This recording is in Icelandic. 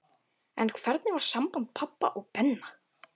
En hvernig var samband pabba og Benna?